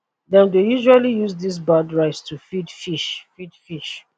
dem dey usually use dis bad rice to feed fish feed fish